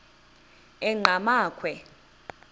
enqgamakhwe